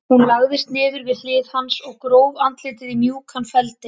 Hún lagðist niður við hlið hans og gróf andlitið í mjúkan feldinn.